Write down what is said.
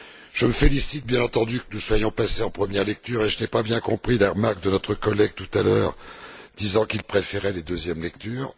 Je me félicite bien entendu que nous soyons passés en première lecture et je n'ai pas bien compris les remarques de notre collègue, tout à l'heure, disant qu'il préférait les deuxièmes lectures.